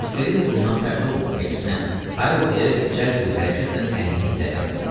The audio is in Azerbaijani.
Rosselini bundan pərt olmadı, əksinə, “Hayl” deyə cəld bir hərəkətlə əlini irəli atdı.